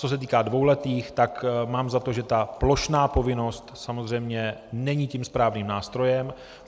Co se týká dvouletých, tak mám za to, že ta plošná povinnost samozřejmě není tím správným nástrojem.